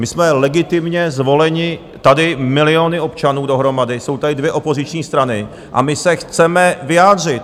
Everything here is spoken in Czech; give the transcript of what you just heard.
My jsme legitimně zvoleni tady miliony občanů dohromady, jsou tady dvě opoziční strany a my se chceme vyjádřit!